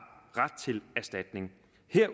ret til erstatning